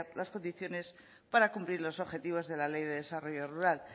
las condiciones para cumplir los objetivos de la ley de desarrollo rural